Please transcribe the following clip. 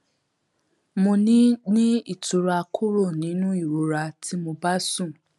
mo ní ní ìtura kúrò nínú ìrora tí mo bá sùn